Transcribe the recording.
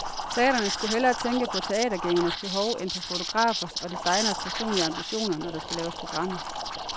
Teatrene skulle hellere tænke på teatergængernes behov end på fotografers og designeres personlige ambitioner, når der skal laves programmer.